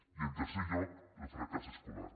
i en tercer lloc el fracàs escolar